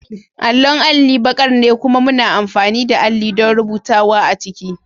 Allon alli baƙar ne kuma muna amfani da alli don rubutawa a ciki.